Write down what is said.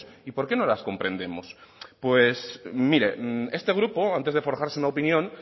y por qué no las comprendemos pues miren este grupo antes de forjarse una opinión